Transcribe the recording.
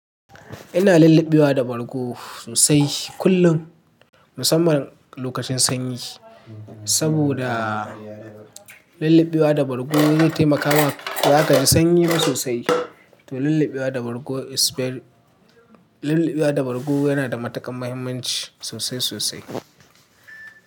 Ina lullubewa da bargo sosai kullum musamman lokacin sanyi, saboda lullubewa da bargo yana taimaka ma baza kaji sanyi ba sosai. To lullubewa da bargo, lullubewa da bargo yana da matuƙar muhimmanci sosai sosai.